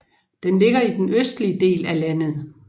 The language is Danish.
Den ligger i den østlige del af landet